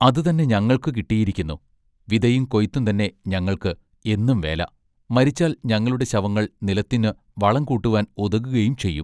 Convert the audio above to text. അതു തന്നെ ഞങ്ങൾക്കു കിട്ടിയിരിക്കുന്നു. വിതയും കൊയിത്തും തന്നെ ഞങ്ങൾക്ക് എന്നും വേല മരിച്ചാൽ ഞങ്ങളുടെ ശവങ്ങൾ നിലത്തിന്ന് വളം കൂട്ടുവാൻ ഉതകുകയും ചെയ്യും.